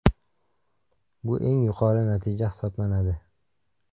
Bu eng yuqori natija hisoblanadi.